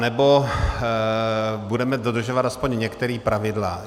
Anebo budeme dodržovat aspoň některá pravidla.